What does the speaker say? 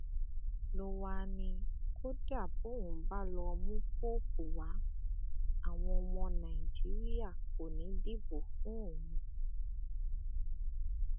ló wáá ní kódà bóun bá lọọ mú póòpù wá àwọn ọmọ nàìjíríà kò ní í dìbò fún òun